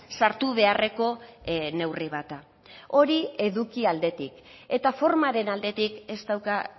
sartu beharreko neurri bat da hori eduki aldetik eta formaren aldetik ez dauka